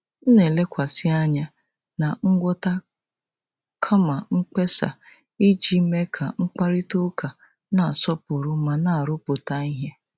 M na-elekwasị anya na ngwọta kama mkpesa iji mee ka mkparịta ụka na-asọpụrụ ma na-arụpụta ihe.